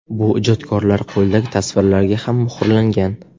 Bu ijodkorlar qo‘lidagi tasvirlarga ham muhrlangan.